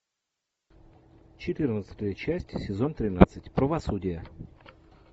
четырнадцатая часть сезон тринадцать правосудие